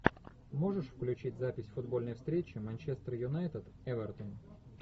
можешь включить запись футбольной встречи манчестер юнайтед эвертон